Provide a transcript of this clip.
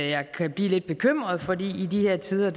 jeg kan blive lidt bekymret for i de her tider